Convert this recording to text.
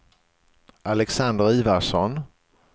Alexander Ivarsson